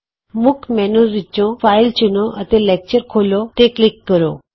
ਮੁੱਖ ਮੈਨਯੂ ਵਿਚੋਂ ਫਾਈਲ ਚੁਣੋ ਅਤੇ ਲੈਕਚਰ ਖੋਲ੍ਹੋ ਤੇ ਕਲਿਕ ਕਰੋ